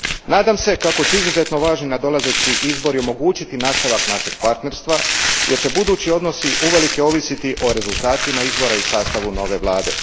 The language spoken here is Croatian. Nadam se kako će izuzetno važni nadolazeći izbori omogućiti nastavak našeg partnerstva, jer će budući odnosi uvelike ovisiti o rezultatima izbora i sastavu nove Vlade.